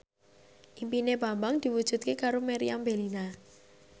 impine Bambang diwujudke karo Meriam Bellina